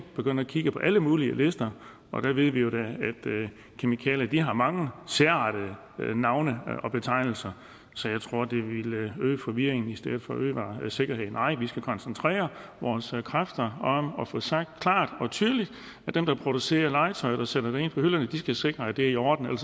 begynde at kigge på alle mulige lister der ved vi jo da at kemikalier har mange sære navne og betegnelser så jeg tror det ville øge forvirringen i stedet for at øge sikkerheden nej vi skal koncentrere vores kræfter om at få sagt klart og tydeligt at dem der producerer legetøjet og sætter det ind på hylderne skal sikre at det er i orden